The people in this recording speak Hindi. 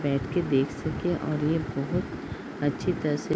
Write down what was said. बैठ के देख सके और ये बोहत अच्छी तरह से --